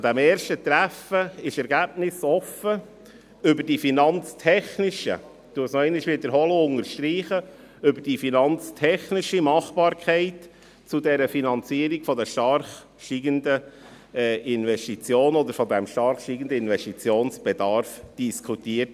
Am ersten Treffen wurde ergebnisoffen über die finanztechnischen – ich unterstreiche diesen Begriff – Machbarkeit der Finanzierung des stark steigenden Investitionsbedarfs diskutiert.